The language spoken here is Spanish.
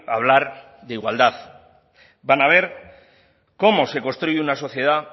hablar de igualdad van a ver cómo se construye una sociedad